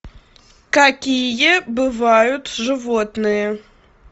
какие бывают животные